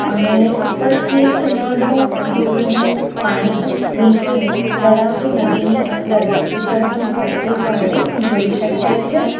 અને ઉપરથી એક નાનો ધોધનું પાણી નીચે તળાવ કે નદીની અંદર ઉતરતું હોય એવું આપણે જોઈ શકીએ છે.